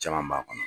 Caman b'a kɔnɔ